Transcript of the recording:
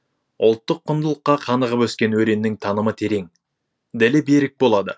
ұлттық құндылыққа қанығып өскен өреннің танымы терең ділі берік болады